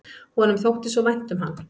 Honum þótti svo vænt um hann.